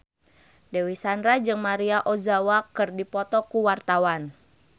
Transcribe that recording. Dewi Sandra jeung Maria Ozawa keur dipoto ku wartawan